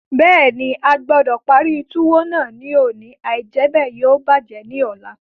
Bẹ́ẹ̀ni, a gbọdọ̀ parí túwó náà ní òní, àìjẹ́bẹ̀ yóò bàjẹ́ ní ọ̀la.